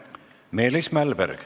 Meelis Mälberg.